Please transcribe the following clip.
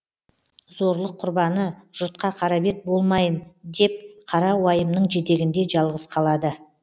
зорлық құрбаны жұртқа қара бет болмайын деп қара уайымның жетегінде жалғыз қалады